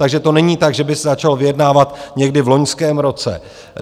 Takže to není tak, že by se začalo vyjednávat někdy v loňském roce.